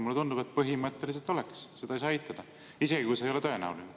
Mulle tundub, et põhimõtteliselt oleks, seda ei saa eitada, isegi kui see ei ole tõenäoline.